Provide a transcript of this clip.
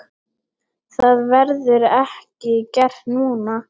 Það verður ekki gert núna.